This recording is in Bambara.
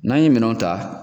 N'an ye minɛn ta